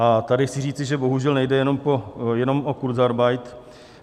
A tady chci říci, že bohužel nejde jenom o kurzarbeit.